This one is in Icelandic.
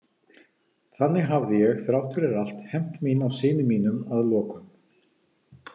Þannig hafði ég þrátt fyrir allt hefnt mín á syni mínum að lokum.